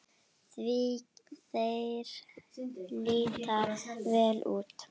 Því þeir líta vel út?